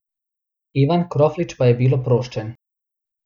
Ivan Kroflič pa je bil oproščen.